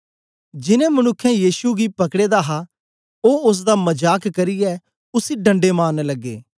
जीनें मनुक्खें यीशु गी पकड़े दा हा ओ ओसदा मजाक करियै उसी डंडे मारन लगे